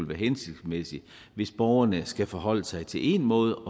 være hensigtsmæssigt hvis borgerne skal forholde sig til en måde